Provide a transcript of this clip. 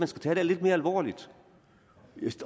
det her lidt mere alvorligt